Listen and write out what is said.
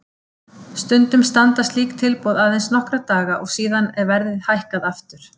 Stundum standa slík tilboð aðeins nokkra daga og síðan er verðið hækkað aftur.